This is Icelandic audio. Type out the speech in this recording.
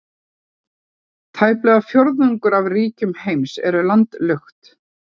Tæplega fjórðungur af ríkjum heims eru landlukt.